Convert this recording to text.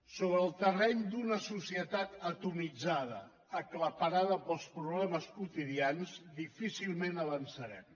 sobre el terreny d’una societat atomitzada aclaparada pels problemes quotidians difícilment avançarem